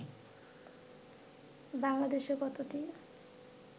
বাংলাদেশে কতটি